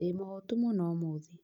Ndĩmũhũĩtu mũno ũmũthĩ